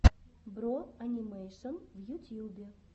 бро анимэйшон в ютьюбе